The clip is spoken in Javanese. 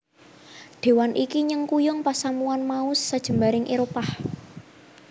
Déwan iki nyengkuyung pasamuwan mau sajembaring Éropah